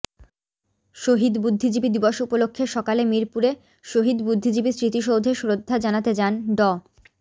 শহীদ বুদ্ধিজীবী দিবস উপলক্ষে সকালে মিরপুরে শহীদ বুদ্ধিজীবী স্মৃতিসৌধে শ্রদ্ধা জানাতে যান ড